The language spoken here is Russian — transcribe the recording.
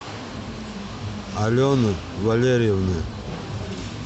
алены валерьевны